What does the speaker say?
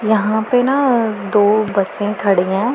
यहां पे ना दो बसें खड़ी हैं।